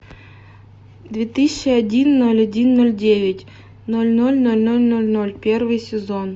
две тысячи один ноль один ноль девять ноль ноль ноль ноль ноль ноль первый сезон